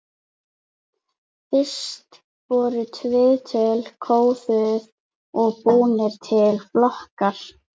Fyrst voru viðtölin kóðuð og búnir til flokkar.